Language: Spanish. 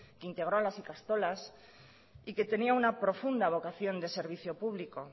que integró a las ikastolas y que tenía una profunda vocación de servicio público